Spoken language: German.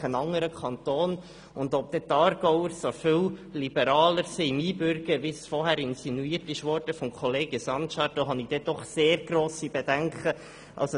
Ich habe sehr grosse Bedenken, ob die Aargauer so viel liberaler beim Einbürgern sind, wie es zuvor von Grossrat Sancar insinuiert wurde.